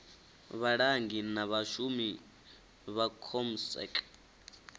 vhalangi na vhashumi vha comsec